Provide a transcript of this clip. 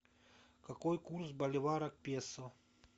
какой курс боливара к песо